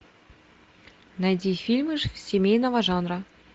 найди фильмы семейного жанра